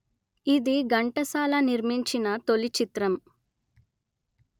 ఇది ఘంటసాల నిర్మించిన తొలిచిత్రం